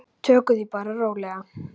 Tökum því bara rólega.